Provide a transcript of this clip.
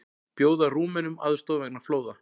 Bjóða Rúmenum aðstoð vegna flóða